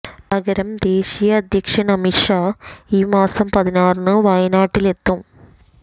പകരം ദേശീയ അധ്യക്ഷന് അമിത് ഷാ ഈ മാസം പതിനാറിന് വയനാട്ടിലെത്തും